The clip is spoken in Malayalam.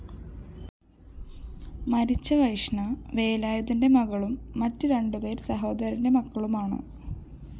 മരിച്ച വൈഷ്ണ വേലായുധന്റെ മകളും മറ്റ് രണ്ടുപേര്‍ സഹോദരന്റെ മക്കളുമാണ്